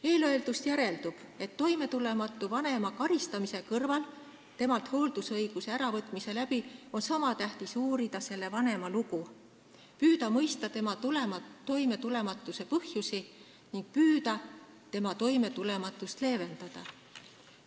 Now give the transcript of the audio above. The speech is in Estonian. Eelöeldust järeldub, et niisama tähtis kui toimetulematut vanemat hooldusõiguse äravõtmisega karistada, on uurida selle vanema lugu, püüda mõista toimetulematuse põhjusi ning püüda tema toimetulematust leevendada.